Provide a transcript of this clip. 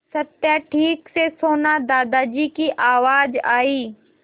सत्या ठीक से सोना दादाजी की आवाज़ आई